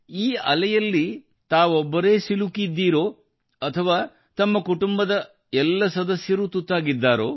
ತಮ್ಮ ಅಲೆಯಲ್ಲಿ ತಮ್ಮದೇ ಸಂಖ್ಯೆ ಭರ್ತಿಯಾಗಿದೆ ತಮ್ಮ ಕುಟುಂಬದ ಎಲ್ಲ ಸದಸ್ಯರಿಗೂ ಇದಕ್ಕೆ ತುತ್ತಾಗಿದ್ದಾರೆ ಎನಿಸುತ್ತದೆ